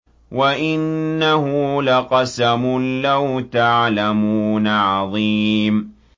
وَإِنَّهُ لَقَسَمٌ لَّوْ تَعْلَمُونَ عَظِيمٌ